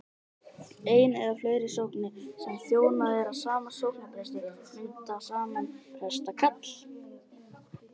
ein eða fleiri sóknir sem þjónað er af sama sóknarpresti mynda saman prestakall